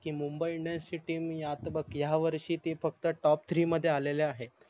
Mumbai Indians ची TEAM या त बघ या वर्षी ते फक्त TOPTHREE मध्ये आलेले आहे